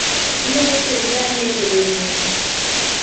Inyalo tiyo gi dania e tedo ring'o